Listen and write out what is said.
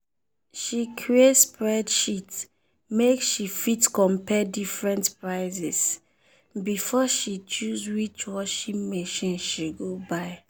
she create spreadsheet make she fit compare different prices before she choose which washing machine she go buy.